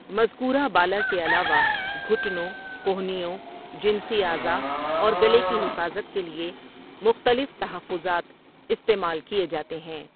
مذکورہ بالا کے علاوہ، گھٹنوں، کہنیوں، جنسی اعضاء اور گلے کی حفاظت کے لیے مختلف تحفظات استعمال کیے جاتے ہیں۔